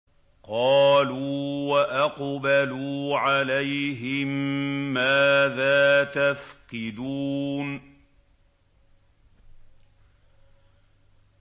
قَالُوا وَأَقْبَلُوا عَلَيْهِم مَّاذَا تَفْقِدُونَ